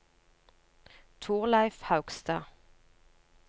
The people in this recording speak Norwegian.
Thorleif Haugstad